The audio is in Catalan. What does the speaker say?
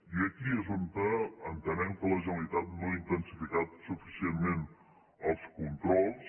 i aquí és on entenem que la generalitat no ha intensificat suficientment els controls